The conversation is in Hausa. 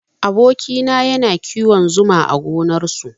Aboki na yana kiwon zuma a gonar su